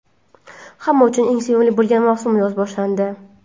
Hamma uchun eng sevimli bo‘lgan mavsum yoz boshlandi.